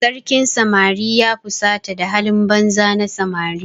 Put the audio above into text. Sarkin samari ya fusata da halin banza na samari.